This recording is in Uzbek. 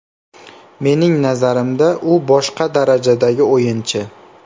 Mening nazarimda, u boshqa darajadagi o‘yinchi.